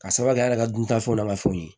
Ka sababu kɛ a yɛrɛ ka duntafɛnw n'a ka fɛnw ye